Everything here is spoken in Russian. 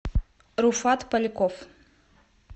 руфат поляков